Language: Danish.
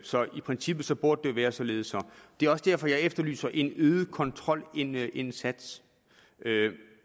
så i princippet burde det være således det er også derfor jeg efterlyser en øget kontrolindsats